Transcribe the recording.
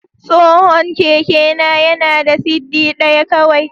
Tsohon kekena yana da siddi ɗaya kawai.